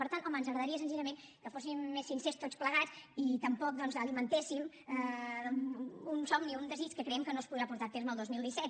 per tant home ens agradaria senzillament que fóssim més sincers tots plegats i tampoc doncs alimentéssim un somni un desig que creiem que no es podrà portar a terme el dos mil disset